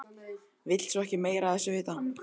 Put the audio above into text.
Vill svo ekki meira af þessu vita.